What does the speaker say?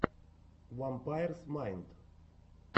вампайрс майнд